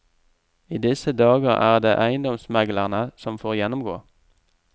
I disse dager er det eiendomsmeglerne som får gjennomgå.